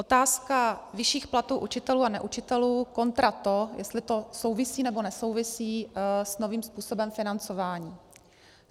Otázka vyšších platů učitelů a neučitelů kontra to, jestli to souvisí nebo nesouvisí s novým způsobem financování.